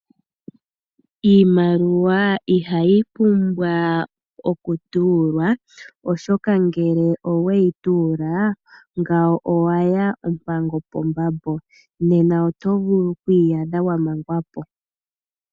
Iimaliwa ihayi pumbwa okutuulwa, oshoka ngele oweyi tuula ngawo owaya ompango pambambo nena oto vulu okwiiyadha wamangwapo.